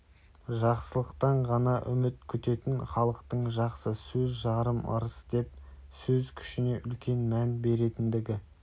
жақсылықтан ғана үміт күтетін халықтың жақсы сөз жарым ырыс деп сөз күшіне үлкен мән беретіндігі